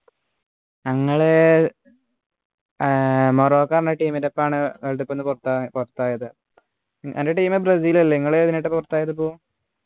ഞങ്ങള് ആഹ് മൊറോക്കോ ന്നു പറഞ്ഞ team ൻ്റെ ഒപ്പാണ് world cup ന്ന് പുറത്തായത് അൻ്റെ team ബ്രസീൽ അല്ലെ നിങ്ങള് ഇതിനായിട്ടാ പുറത്തായത് പ്പോ